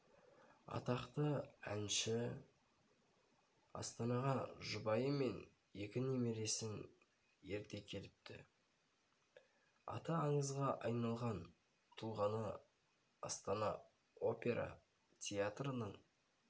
атақты әнші астанаға жұбайы мен екі немересін ерте келіпті аты аңызға айналған тұлғаны астана опера театрының